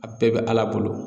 A bɛɛ bɛ Ala bolo